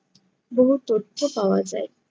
বহু তথ্য পাওয়া যায়।